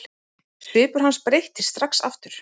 Svipur hans breyttist strax aftur.